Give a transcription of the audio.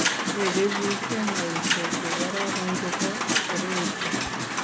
Techei biik emaishe che kororon che bo shereishe.